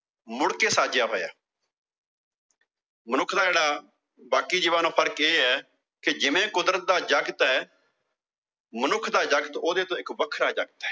ਮੁੜ ਕੇ ਸਾਜਿਆ ਹੋਇਆ ਮਨੁੱਖ ਦਾ ਜਿਹੜਾ ਬਾਕੀ ਜੀਵਾਂ ਨਾਲੋਂ ਫਰਕ ਇਹ ਆ ਕਿ ਜਿਵੇਂ ਕੁਦਰਤ ਦਾ ਦਾ ਜਗਤ ਆ ਮਨੁੱਖ ਦਾ ਜਗਤ ਉਹਦੇ ਤੋਂ ਇੱਕ ਵੱਖਰਾ ਜਗਤ ਆ।